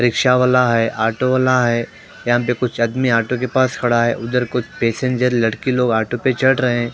rickshaw वाला है auto वाला है यहां पे कुछ आदमी ऑटो के पास खड़ा है उधर कुछ पैसेंजर लड़के लोग ऑटो पे चढ़ रहे --